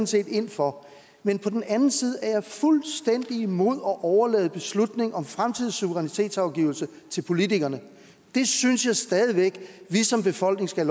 set ind for men på den anden side er jeg fuldstændig imod at overlade beslutning om fremtidig suverænitetsafgivelse til politikerne det synes jeg stadig væk vi som befolkning skal